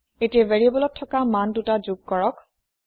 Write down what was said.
এতিয়া ভেৰিয়েবোলত থকা মান দুটা যোগ কৰক